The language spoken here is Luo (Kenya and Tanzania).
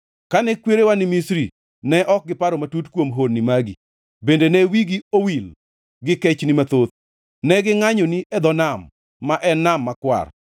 Kane kwerewa ni Misri, ne ok giparo matut kuom honni magi; bende ne wigi owil gi kechni mathoth, ne gingʼanyoni e dho nam, ma en Nam Makwar.